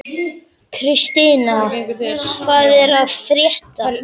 Kristian, hvað er að frétta?